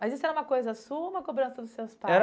Mas isso era uma coisa sua ou uma cobrança dos seus pais?